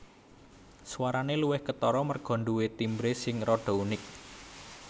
Swarane luwih ketara merga nduwe timbre sing rada unik